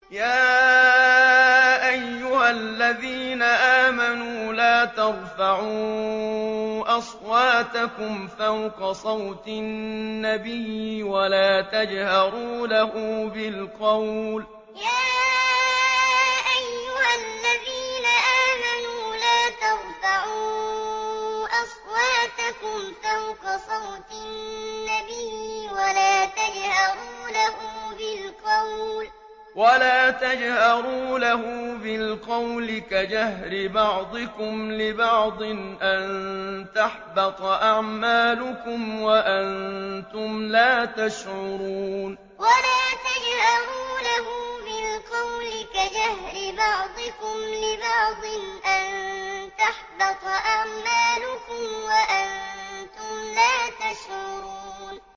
يَا أَيُّهَا الَّذِينَ آمَنُوا لَا تَرْفَعُوا أَصْوَاتَكُمْ فَوْقَ صَوْتِ النَّبِيِّ وَلَا تَجْهَرُوا لَهُ بِالْقَوْلِ كَجَهْرِ بَعْضِكُمْ لِبَعْضٍ أَن تَحْبَطَ أَعْمَالُكُمْ وَأَنتُمْ لَا تَشْعُرُونَ يَا أَيُّهَا الَّذِينَ آمَنُوا لَا تَرْفَعُوا أَصْوَاتَكُمْ فَوْقَ صَوْتِ النَّبِيِّ وَلَا تَجْهَرُوا لَهُ بِالْقَوْلِ كَجَهْرِ بَعْضِكُمْ لِبَعْضٍ أَن تَحْبَطَ أَعْمَالُكُمْ وَأَنتُمْ لَا تَشْعُرُونَ